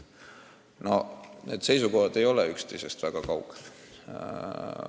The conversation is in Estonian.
Nii et seisukohad ei ole üksteisest väga kaugel.